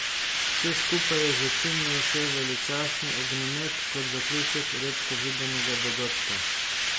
Vse skupaj je začinil še veličastni ognjemet kot zaključek redko videnega dogodka.